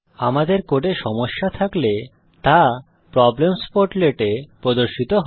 আমাদের কোডে সমস্যা থাকলে তা প্রব্লেমস পোর্টলেট এ প্রদর্শিত হয়